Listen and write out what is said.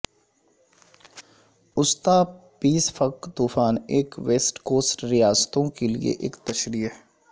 وسطی پیسفک طوفان ایک ویسٹ کوسٹ ریاستوں کے لئے ایک تشریح